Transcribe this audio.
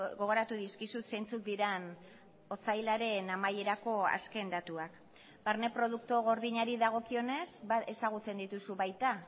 gogoratu dizkizut zeintzuk diren otsailaren amaierako azken datuak barne produktu gordinari dagokionez ezagutzen dituzu baita